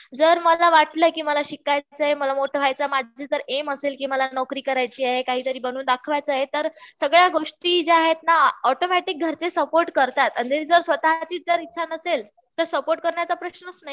जर मला वाटलं कि मला शिकायचं आहे माझं जर एम मला जर नोकरी करायची आहे काहीतरी बनून दाखवायचं आहे.तर सगळ्या गोष्टी ज्या आहेत ना ऑटोमॅटिक घरचे सपोर्ट करतात आणि जर स्वतःची ईच्छा नसेल तर सपोर्ट करण्याचा प्रश्नच नाही